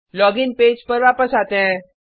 login page पर वापस आते हैं